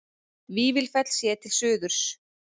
Vífilsfell séð til suðurs.